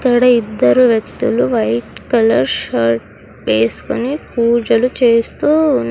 ఇక్కడ ఇద్దరు వ్యక్తులు వైట్ కలర్ షర్ట్ వేసుకొని పూజలు చేస్తూ --